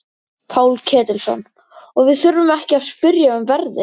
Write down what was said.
Páll Ketilsson: Og við þurfum ekki að spyrja um verðið?